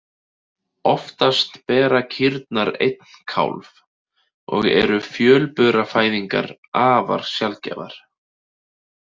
Oftast bera kýrnar einn kálf og eru fjölburafæðingar afar sjaldgæfar.